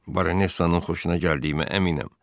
Baronesanın xoşuna gəldiyimə əminəm.